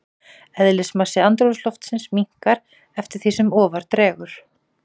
Eðlismassi andrúmsloftsins minnkar eftir því sem ofar dregur.